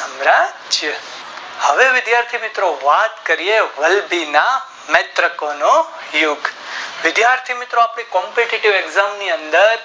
હવે વિધાથી મિત્રો વાતકરીયે વલ્લભી માં નેત્રોકોનો યુગ વિધાથી મિત્રો આપણે Competitive exam ની અંદર